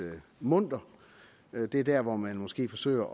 munter det er der hvor man måske forsøger